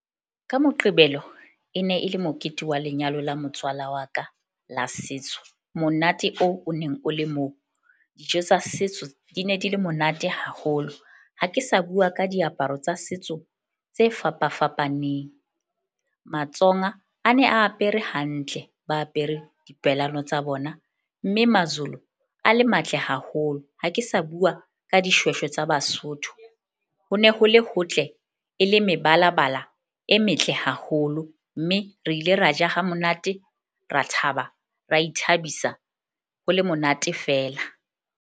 Ka Moqebelo e ne e le mokete wa lenyalo la motswala wa ka la setso, monate oo o neng o le moo dijo tsa setso di ne di le monate haholo. Ha ke sa bua ka diaparo tsa setso tse fapa fapaneng. MaTsonga a ne a apere hantle ba apere tsa bona. Mme MaZulu a le matle haholo. Ha ke sa bua ka dishweshwe tsa Basotho. Ho ne ho le hotle e le mebalabala e metle haholo, mme re ile ra ja ha monate, ra thaba, ra ithabisa ho le monate fela.